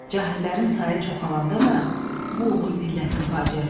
Cahillərin sayı çoxalandan da bu olur millətin faciəsi.